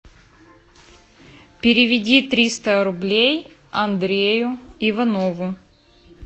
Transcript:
переведи триста рублей андрею иванову